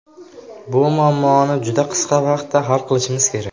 Bu muammoni juda qisqa vaqtda hal qilishimiz kerak.